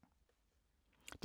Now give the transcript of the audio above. DR2